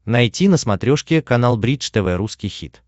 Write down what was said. найти на смотрешке канал бридж тв русский хит